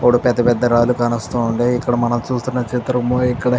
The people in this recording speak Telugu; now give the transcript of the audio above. మూడు పెద్ద పెద్ద రాళ్లు కానవస్తుండాయ్ ఇక్కడ మనం చూస్తున్న చిత్రము ఇక్కడ --